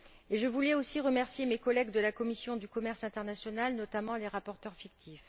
Je voulais aussi remercier mes collègues de la commission du commerce international, notamment les rapporteurs fictifs.